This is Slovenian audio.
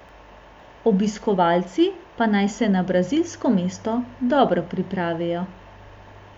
Obiskovalci pa naj se na brazilsko mesto dobro pripravijo.